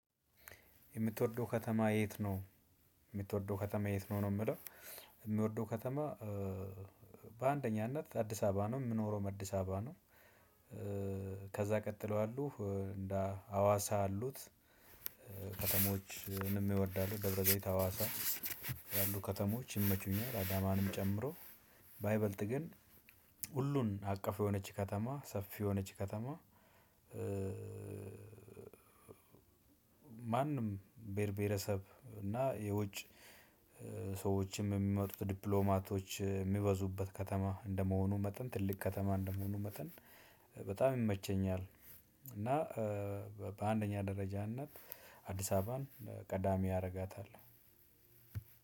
የምትወደው ከተማ የት ነው ነው የሚለው? የምወደው ከተማ በአንደኛነት አዲሰ አበባ ነው የምኖረውም አድስ አበባ ነው። ከዛ ቀጥሎ ያሉት እንደ አዋሳ ያሉት። ከተሞችንም እወዳለው ደብረ ዘይት አዋሳ ያሉት ከተሞች ይመቹኛል። አዳማንም ጨምሮ በይበልጥ ግን ሁሉን አቀፍ የሆነች ከተማ ሰፊ የሆነች ከተማ። ማንም ብሄር ብሔረሰብ እና የውጭ ሰዎች የሚመጡበት ዲፕሎማቶች የሚበዙበት ከተማ እንደመሆኑ መጠን ትልቅ ከተማ እንደመሆኑ መጠን በጣም ይመቸኛል። እና በአንደኛ ደረጃነት አዲስ አበባን ቀዳሚ አደርጋታለሁ።